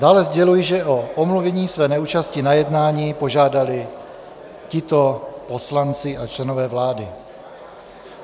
Dále sděluji, že o omluvení své neúčasti na jednání požádali tito poslanci a členové vlády.